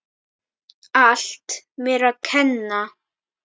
Allt mér að kenna.